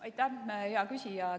Aitäh, hea küsija!